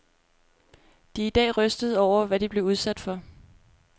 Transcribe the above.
De er i dag rystede over, hvad de blev udsat for.